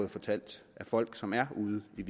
fortalt af folk som er ude i